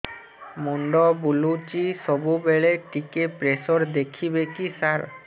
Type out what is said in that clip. ମୁଣ୍ଡ ବୁଲୁଚି ସବୁବେଳେ ଟିକେ ପ୍ରେସର ଦେଖିବେ କି ସାର